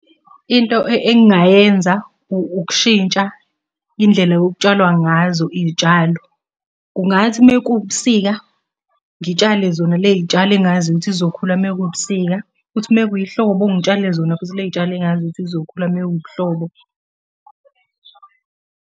Into engingayenza ukushintsha indlela okutshalwa ngazo iy'tshalo. Kungathi uma kuwubusika, ngitshale zona le y'tshalo engaziyo ukuthi zizokhula uma kuwubusika. Kuthi uma kuyihlobo ngitshale zona futhi ley'tshalo engaziyo ukuthi iy'zokhula uma kuwubuhlobo.